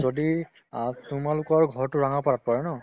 যদি অ তোমালোকৰ ঘৰতো ৰঙাপাৰাত পৰে ন